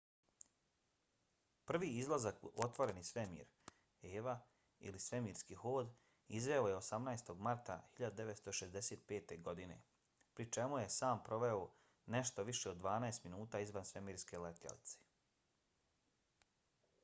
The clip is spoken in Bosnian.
prvi izlazak u otvoreni svemir eva ili svemirski hod izveo je 18. marta 1965. godine pri čemu je sam proveo nešto više od dvanaest minuta izvan svemirske letjelice